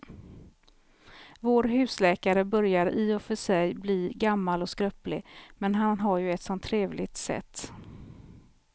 Vår husläkare börjar i och för sig bli gammal och skröplig, men han har ju ett sådant trevligt sätt!